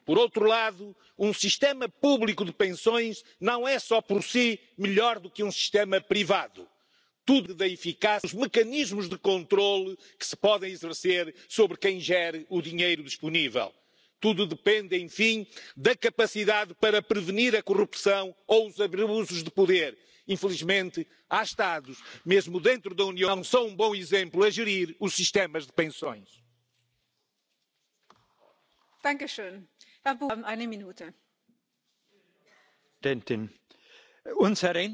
the three pillars of government, state and corporate and private pensions. Public schemes must become investment based schemes, not tax matched schemes, and contributions must start much earlier. Legislation should guarantee pension portability of corporate pension schemes to help those who move jobs regularly. The tax system must be used to incentivise the growth of private self managed pension schemes, and the governments must use tax incentives to improve technological advances in administration and fund management. Such practical improvements are the basis of improving pensions for the many, not the few.